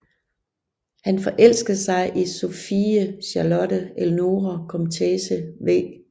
Han forelskede sig i Sophie Charlotte Eleonore Komtesse v